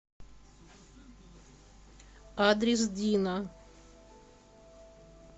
адрес дина